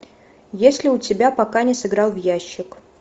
есть ли у тебя пока не сыграл в ящик